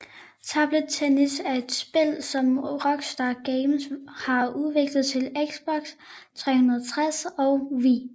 Table Tennis Er et spil som Rockstar Games har udviklet til Xbox 360 og Wii